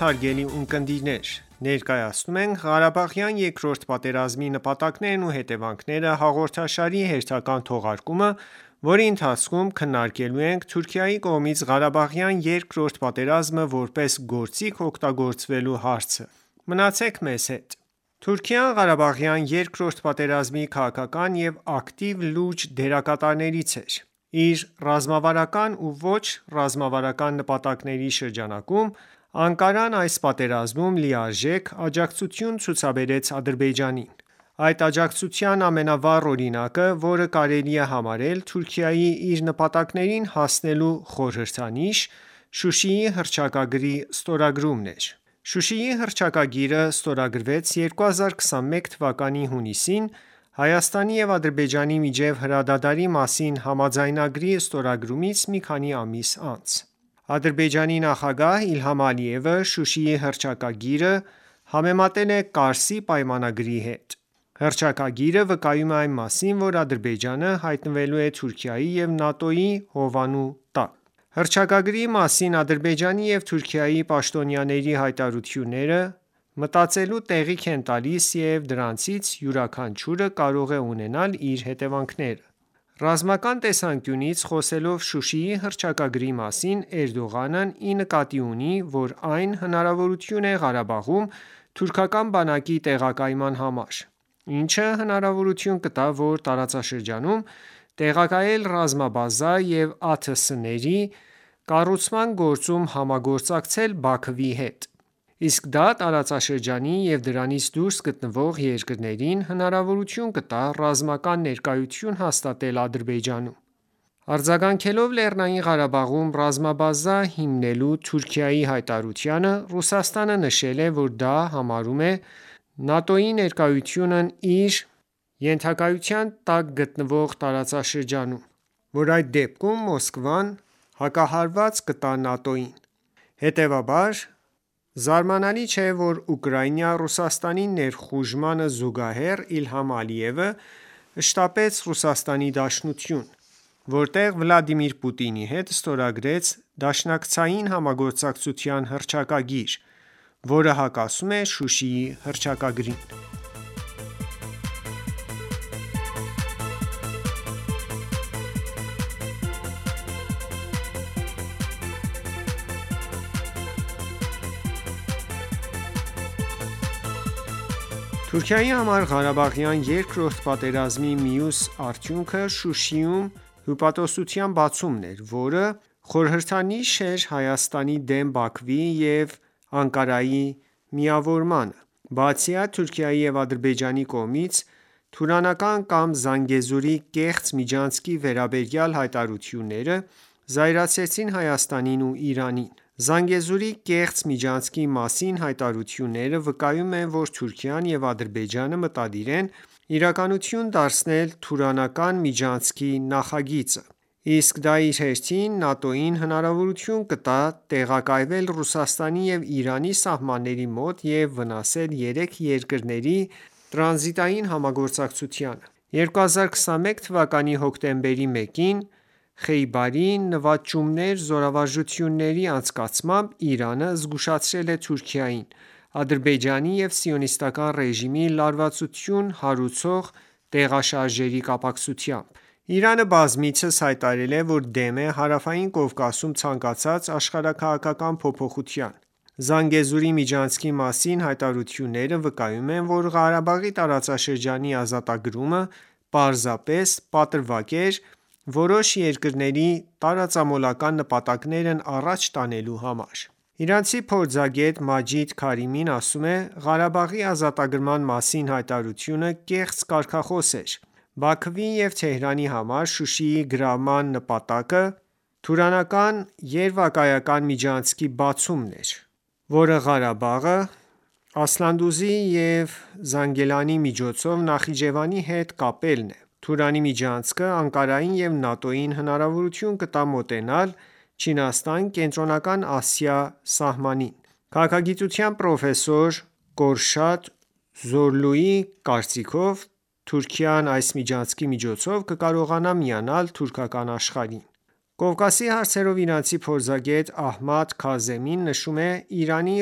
հարգելի ունկնդիրներ: Ներկայացնում ենք «Ղարաբաղյան երկրորդ պատերազմի նպատակներն ու հետևանքները» հաղորդաշարի հերթական թողարկումը, որի ընթացքում քննարկելու ենք Թուրքիայի կողմից Ղարաբաղյան երկրորդ պատերազմը որպես գործիք օգտագործվելու հարցը: Մնացեք մեզ հետ: Թուրքիան Ղարաբաղյան երկրորդ պատերազմի քաղաքական ու ակտիվ լուրջ դերակատարներից էր: Իր ռազմավարական ու ոչ ռազմավարական նպատակների շրջանակոմ, Անկարան այս պատերազմում լիրարժեք աջակցություն ցուցաբարեց Ադրբեջանին: Այդ աջակցության ամենավառ օրինակը, որը կարելի է համարել Թուրքիայի՝ իր նպատակներին հասնելու խորհրդանիշ, Շուշիի հռչակագրի ստորագրումն էր: Շուշիի հռչակագիրը ստորագրվեց 2021թ հունիսին՝ Հայաստանի ու Ադրբեջանի միջև հրադադարի մասին համաձայնագրի ստորագրումից մի քանի ամիս անց: Ադրբեջանի նախագահ Իլհամ Ալիևը Շուշիի հռչակագիրը համեմատել է Կարսի պայմանագրի հետ: Հռչակագիրը վկայում է այն մասին, որ Ադրբեջանը հայտնվելու է Թուրքիայի ու ՆԱՏՕ-ի հովանու տակ: Հռչակագրի մասին Ադրբեջանի ու Թուրքիայի պաշտոնյաների հայտարարությունները մտածելու տեղիք են տալիս և դրանցից յուրաքանչյուրը կարող է ունենալ իր հետևանքները: Ռազմական տեսանկյունից, խոսելով Շուշիի հռչակագրի մասին, Էրդողանն ի նկատի ունի, որ այն հնարավորություն է Ղարաբաղում թուրքական բանակի տեղակայման համար, ինչը հնարավորություն կտա այդ տարածաշրջանում տեղակայել ռազմաբազա և ԱԹՍ-ների կառուցման գործում համագործակցել Բաքվի հետ: Իսկ դա տարածաշրջանի ու դրանից դուրս գտնվող երկրներին հնարավորություն կտա ռազմական ներկայություն հաստատել Ադրբեջանում: Արձագանքելով Լեռնային Ղարաբաղում ռազմաբազա հիմնելու Թուրքիայի հայտարարությանը, Ռուսաստանը նշել է, որ դա համարում է ՆԱՏՕ-ի ներկայությունն իր ետնաբակում և սպառնացել, որ այդ դեպքում Մոսկվան հակահարված կտա: Հետևաբար, զարմանալի չէ, որ Ուկրաինա Ռուսաստանի ներխուժմանը զուգահեռ, Իլհամ Ալիևը շտապեց ՌԴ, որտեղ Վլադիմիր Պուտինի հետ ստորագրեց դաշնակցային համագործակցության հռչակագիր, որը հակասում է Շուշիի հռչակագրին: Ռուսաստան-Թուրքիա առճակատում Հարավային Կովկասում Թուրքիայի համար Ղարաբաղյան երկրորդ պատերազմի մյուս արդյունքը Շուշիում հյուպատոսության բացումն էր, որը խորհդրանշեց Հայաստանի դեմ Բաքվի ու Անկարայի միավորումը: Բացի այդ, Թուրքիայի ու Ադրբեջանի կողմից Թուրանական կամ «Զանգեզուրի» կեղծ միջանցքի վերաբերյալ հայտարարությունները զայրացրեցին Հայաստանին ու Իրանին: «Զանգեզուրի» կեղծ միջանցքի մասին հայտարարությունները վկայում են, որ Թուրքիան ու Ադրբեջանը մտադիր են իրականություն դարձնել Թուրանական միջանցքի նախագիծը: Իսկ դա իր հերթին ՆԱՏՕ-ին հնարավորություն կտա տեղակայվել Ռուսաստանի ու Իրանի սահմանների մոտ և վնասել երեք երկրների տրանզիտային համագործակցությանը: 2021 թվականի հոկտեմբերի 1-ին «Խեյբարի նվաճողներ» զորավարժությունների անցկացմամբ, Իրանը զգուշացրել է Թուրքիայի, Ադրբեջանի և Սիոնիստական ​​ռեժիմի լարվածություն հարուցող տեղաշարժերի կապակցությամբ։ Իրանը բազմիցս հայտարարել է, որ դեմ է Հարավային Կովկասում ցանկացած աշխարհաքաղաքակն փոփոխության: «Զանգեզուրի» միջանցքի մասին հայտարարությունները վկայում են, որ Ղարաբաղի տարածքների ազատագրումը պարզապես պատրվակ էր՝ որոշ երկրների տարածամոլական նպատակներն առաջ տանելու համար: Իրանցի փորձագետ Մաջիդ Քարիմին ասում է. «Ղարաբաղի ազատագրման մասին հայտարարությունը կեղծ կարգախոս էր: Բաքվի ու Թեհրանի համար Շուշիի գրավման նպատակը Թուրանական երևակայական միջանցքի բացումն էր, որը Ղարաբաղը Ասլանդուզի և Զանգիլանի միջոցով Նախիջևանի հետ կապելն է: Թուրանի միջանցքը Անկարային ու ՆԱՏՕ-ին հնարավորություն կտա մոտենալ Չինաստան-Կենտրոնական Ասիա սահմանին: Քաղաքագիտության պրոֆեսոր Կորշադ Զորլուի կարծիքով՝ Թուրքիան այս միջանցքի միջոցով կկարողանա միանալ «թուրքական աշխարհին»։ Կովկասի հարցերով իրանցի փորձագետ Ահմադ Քազեմին նշում է Իրանի,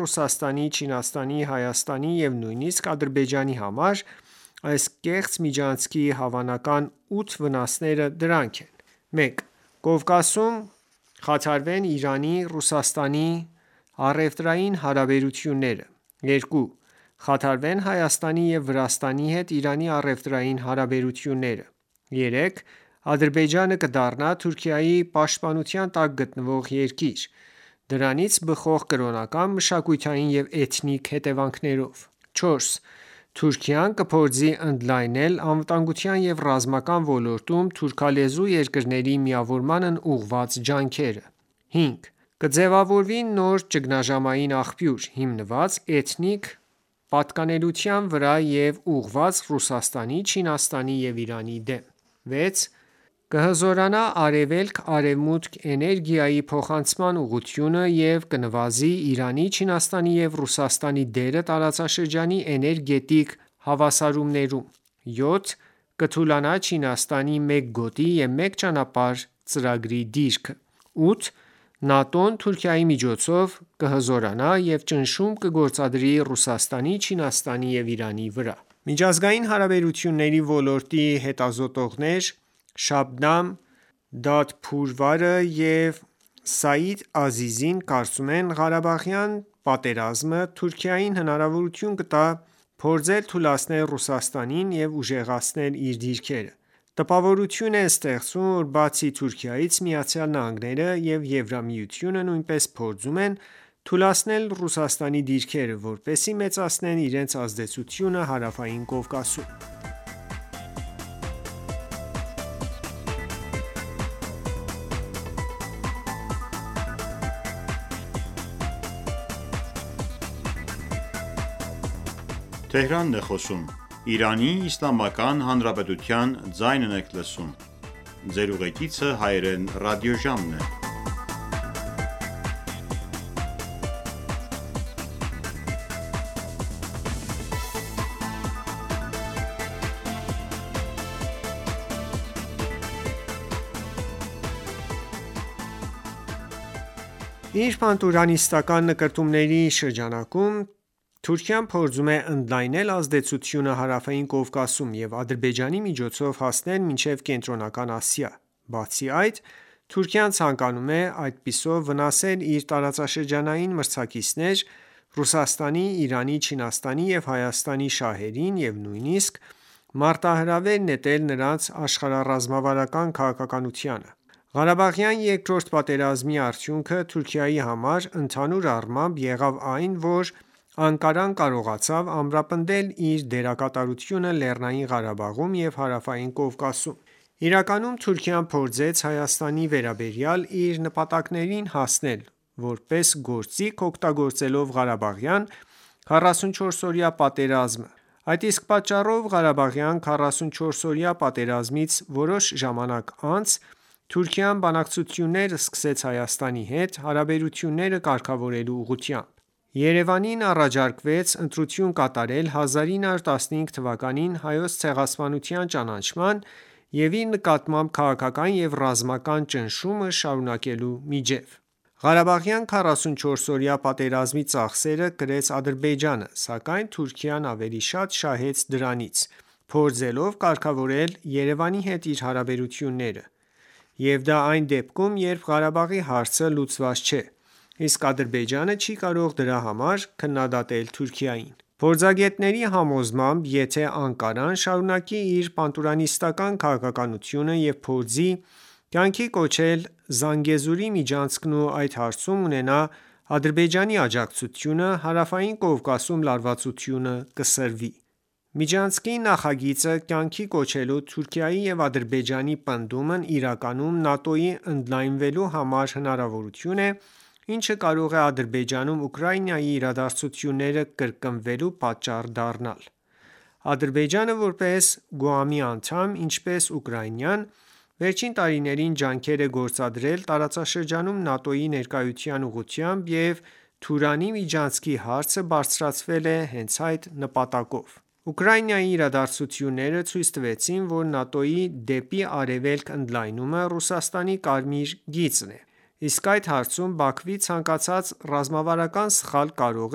Ռուսաստանի, Չինաստանի, Հայաստանի և նույնիսկ Ադրբեջանի համար այս կեղծ միջանքի հավանական 8 վնասները: Դրանք են. 1. Կովկասում կխաթարվեն Իրան-Ռուսաստան առևտրային հարաբերությունները: 2. Կխաթարվեն Հայաստանի ու Վրաստանի հետ Իրանի առևտրային հարաբերությունները: 3. Ադրբեջանը կդառնա Թուրքիայի պաշտպանության տակ գտնվող երկիր, դրանից բխող կրոնական, մշակութային ու էթնիկ հետևանքներով: 4. Թուրքիան կփորձի ընդլայնել անվտանգության ու ռազմական ոլորտում թուրքալեզու երկրների միավորմանն ուղղված ջանքերը: 5. Կձևավորևվի նոր ճգնաժամային աղբյուր՝ հիմնված էթնիկ պատկանելիության վրա և ուղղված Ռուսաստանի, Չինաստանի ու Իրանի դեմ: 6. Կհզորանա արևելք-արևմուտք էներգիայի փոխանցման ուղղությունը և կնավզի Իրանի, Չինաստանի ու Ռուսաստանի դերը տարածաշրջանի էներգետիկ հավասարումներում: 7. Կթուլանա Չինաստանի «Մեկ գոտի և մեկ ճանապարհ» ծրագրի դիրքը: 8. ՆԱՏՕ-ն Թուրքիայի միջոցով կհզորանա և ճնշում կգործադրի Ռուսաստանի, Չինաստանի և Իրանի վրա: Միջազգային հարաբերությունների ոլորտի հետազոտողներ Շաբնամ Դադփարվարը և Սաիդ Ազիզին կարծում են. «Ղարաբաղյան պատերազմը Թուրքիային հնարավորություն կտա փորձել թուլացնել Ռուսաստանի և ուժեղացնել՝ իր դիրքերը: Տպավորություն է ստեղծվում, որ բացի Թուրքիայից, ԱՄՆ-ն ու ԵՄ-ն նույնպես փորձում են թուլացնել Ռուսաստանի դիրքերը, որպեսզի մեծացնեն իրենց ազդեցությունը Հարավային Կովկասում»: «Խեյբարի նվաճողներ» զորավարժություններն Իրանի հյուսիս-արևմուտքում Իր պանթուրքիստական նկրտումների շրջանակում, Թուրքիան փորձում է ընդլայնել ազդեցությունը Հարավային Կովկասում և Ադրբեջանի միջոցով հասնել մինչև Կենտրոնական Ասիա: Բացի այդ, Թուրքիան ցանկանում է այդպիսով վնասել իր տարածաշրջանային մրցակիցներ Ռուսաստանի, Իրանի, Չինաստանի և Հայաստանի շահերին և նույնիսկ մարտահրավեր նետել նրանց աշխարհառազմավարական քաղաքականությանը։ Ղարաբաղյան երկրորդ պատերազմի արդյունքը Թուրքիայի համար ընդհանուր առմամբ եղավ այն, որ Անկարան կարողացավ ամրապնդել իր դերակատարությունը Լեռնային Ղարաբաղում և Հարավային Կովակսում: Իրականում, Թուրքիան փորձեց Հայաստանի վերաբերյալ իր նպատակներին հասնել, որպես գործիք օգտագործելով Ղարաբաղյան 44-օրյա պատերազմը: Այդ իսկ պատճառով, Ղարաբաղյան 44-օրյա պատերազմից որոշ ժամանակ անց, Թուրքիան բանակցություննր սկսեց Հայաստանի հետ՝ հարաբերությունները կարգավորելու ուղղությամբ: Երևանին առաջարկվեց ընտրություն կատարել 1915 թ. Հայոց ցեղասպանության ճանաչաման և իր նկատմամբ քաղաքական ու ռազմական ճնշումը շարունակելու միջև: Ղարաբաղյան 44-օրյա պատերազմի ծախսերը կրեց Ադրբեջանը, սակայն Թուրքիան ավելի շատ շահեց դրանից, փորձելով կարգավորել Երևանի հետ իր հարաբերությունները: Եվ դա այն դեպքում, երբ Ղարաբաղի հարցը լուծված չէ, իսկ Ադրբեջանը չի կարող դրա համար քննադատել Թուրքիային: Փորձագետների համոզմամբ, եթե Անկարան շարունակի իր պանթուրքիսատական քաղաքականությունը և փորձի կյանքի կոչել «Զանգեզուրի» միջանցքն ու այդ հարցում ունենա Ադրբեջանի աջակցությունը, Հարավային Կովկասում լարվածությունը կսրվի: Միջանցքի նախագիծը կյանքի կոչելու Թուրքիայի և Ադրբեջանի պնդումն իրականում ՆԱՏՕ-ի ընդլայնվելու համար հնարավորություն է, ինչը կարող է Ադրբեջանում Ուկրաինայի իրադարձությունները կրկնվելու պատճառ դառնալ: Ադրբեջանը, որպես ԳՈՒԱՄ-ի անդամ, ինչպես Ուկրաինան, վերջին տարիներին ջանքեր է գործադրել տարածաշրջանում ՆԱՏՕ-ի ներկայության ուղղությամբ և Թուրանի միջանցքի հարցը բարձրացվել է հենց այդ նպատակով: Ուկրաինայի իրադարձությունները ցույց տվեցին, որ ՆԱՏՕ-ի՝ դեպի արևելք ընդլայնումը Ռուսաստանի կարմիր գիծն է: Իսկ այդ հարցում Բաքվի ցանկացած ռազմավարական սխալ կարող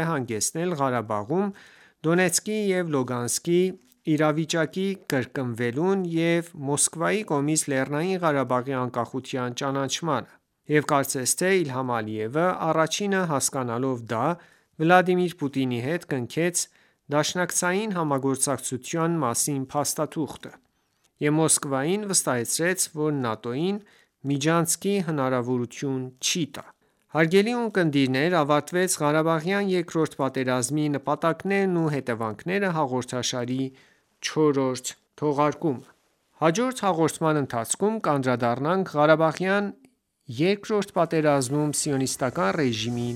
է հանգեցնել Ղարաբաղում Դոնեցկի ու Լուգանսկի իրավիճակի կրկնվելուն և Մոսկվայի կողմից ԼՂ անկախության ճանաչմանը: Եվ կարծես թե Իլհամ Ալիևը առաջինը հասկանալով դա, Վլադիմիր Պուտինի հետ կնքեց դաշնակցային համագործակցության մասին փաստաթուղթը, և Մոսկվային վստահեցրեց, որ ՆԱՏՕ-ին միջանցքի հնարավորություն չի տա: Հարգելի ունկնդիրներ, ավարտվեց «Ղարաբաղյան երկրորդ պատերազմի նպատակներն ու հետևանքները» հաղորդաշարի չորրորդ թողարկումը: Հաջորդ հաղորդման ընթացքում կանդրադառնանք Ղարաբաղյան երկրորդ պատերազմում Սիոնիստական ռեժիմի